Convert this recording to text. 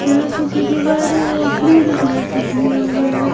क्या कि जो दिवारी और ग्रीन कलर से किया हुआ है।